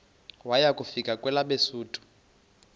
waya kufika kwelabesuthu